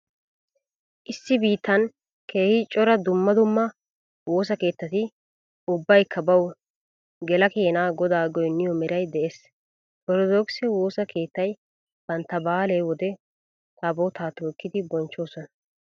Issi biittan keehi cora dumma dumma woosa keettati ubbaykka bawu gela keenaa godaa goynniyo maaray dees. Orttodokise woosa keettay bantta baale wode taabootaa tookkidi bonchchoosona.